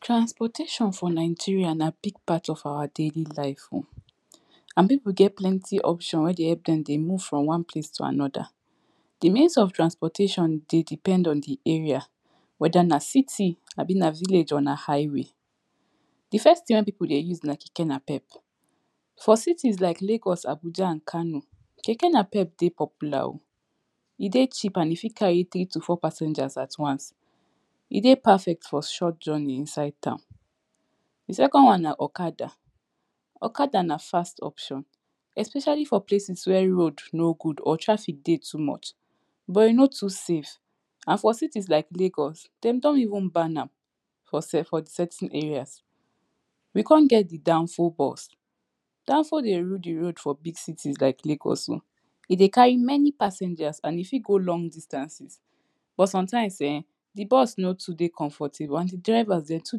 Transportation for Nigeria na big part of our daily life oo, and people get plenty option wey dey help them dey move from one place to another d means of transportation dey depend on di area whether na city abi na village on a highway d first people dey use na Keke napep, for cities like Lagos, Abuja and Kano, Keke napep dey popular oo e dey cheap and e fey carry three to four passengers at once e dey perfect for short journey inside town di second one na Okada. Okada na fast option, especially for places where road no good or traffic dey too much but e no too safe, and for cities like Lagos, dey don even ban am for certain area we con get the danfo bus. Danfo dey rule the road for big cities like Lagos o e dey carry many passengers and e fey go long distances but for sometimes ehnnn, di bus no too dey comfortable and the drivers dem too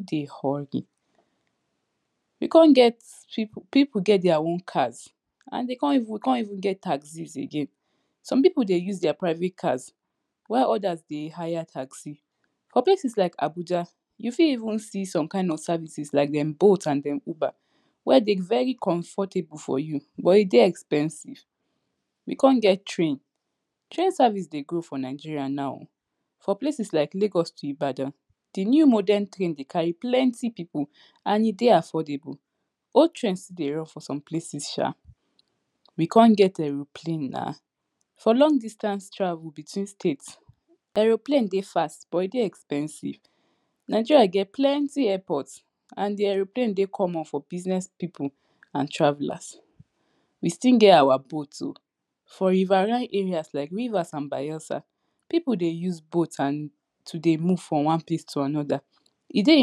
dey hurry we con get people people get their own cars and dey con even, we con even get taxis again, some people dey use their private cars while others dey hire taxi for places like Abuja, u fit even see some kind of services like dem boat and dem Uber where den very comfortable for u but e dey expensive we con get train train service dey grow for Nigeria now, for places like Lagos to Ibadan, di new modern train dey carry plenty people and e dey affordable, old trains still dey run for some places Sha we con get aeroplane na, for long distant travel between states Aeroplane dey fast but e dey expensive Nigeria get plenty airport and di aeroplane dey common for business people and travellers we still get our boat ooo for river nile area like Rivers and Bayelsa, people dey use boat and to dey move from one place to another e dey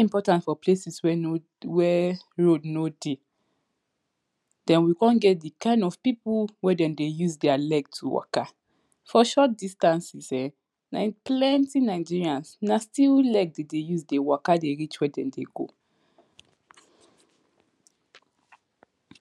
important for places where road no dey den we con get di kind of people wen dem dey use their leg to worker for short distances ehnnn, na plenty Nigerians na still leg dem dey use dey waka dey reach where dem dey go. ‎